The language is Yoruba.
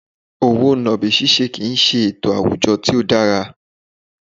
Owó nàbì ṣiṣẹ́ kì í ṣe ètò àwùjọ tí ó dára